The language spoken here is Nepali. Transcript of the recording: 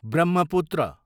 ब्रह्मपुत्र